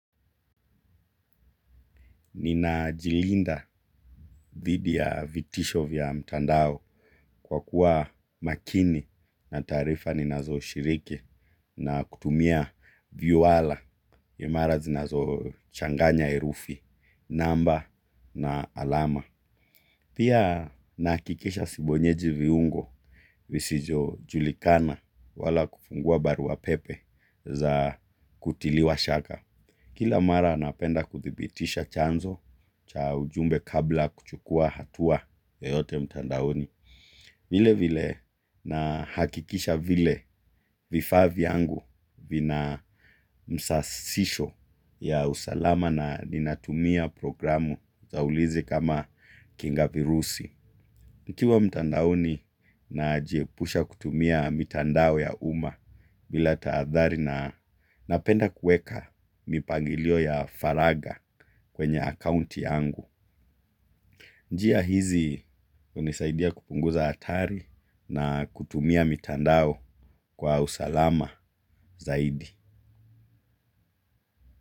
Nina jilinda thidi ya vitisho vya mtandao kwa kuwa makini na taarifa ni nazo shiriki na kutumia viwala imara zinazo changanya herufi, namba na alama. Pia nahakikisha sibonyeji viungo visijo julikana wala kufungua barua pepe za kutiliwa shaka. Kila mara napenda kuthibitisha chanzo cha ujumbe kabla ya kuchukua hatua yoyote mtandaoni. Vile vile na hakikisha vile vifaa vyangu vina msasisho ya usalama na ninatumia programu zaulizi kama kinga virusi. Nikiwa mtandaoni na jie pusha kutumia mitandao ya uma bila taathari na napenda kueka mipangilio ya faraga kwenye akounti yangu. Njia hizi hunisaidia kupunguza hatari na kutumia mitandao kwa usalama zaidi.